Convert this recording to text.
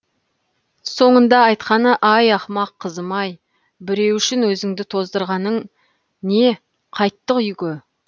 соңында айтқаны ай ақымақ қызым ай біреу үшін өзіңді тоздырғаның не қайттық үйге